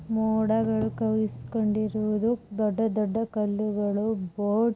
ಮೋಡಗಳು ಕವಿದು ಕೊಂಡಿರುವುದು ದೊಡ್ಡ ದೊಡ್ಡ ಕಲ್ಲುಗಳು ಬೋಟ್ --